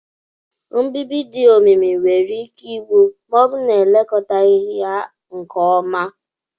Mbibi dị omimi nwere ike igbu, ma ọ bụrụ na elekọtaghị ya nke ọma.